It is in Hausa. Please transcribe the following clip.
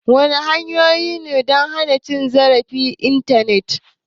Wadanne hanyoyi ne don hana cin zarafi a Intanet?